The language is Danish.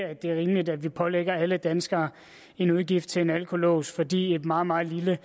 er rimeligt at vi pålægger alle danskere en udgift til en alkolås fordi en meget meget lille